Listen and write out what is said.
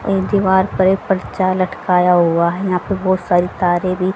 एक दीवार पर एक पर्चा लटकाया हुआ है यहां पे बहोत सारी तारे भी--